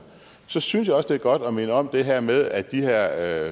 så synes jeg også det er godt at minde om det her med at de her